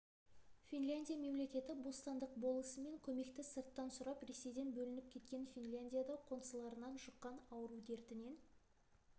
финляндия мемлекеті бостандық болысымен көмекті сырттан сұрап ресейден бөлініп кеткен финляндия да қоңсыларынан жұққан ауру дертінен